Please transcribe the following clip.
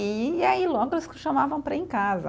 E aí logo eles chamavam para ir em casa.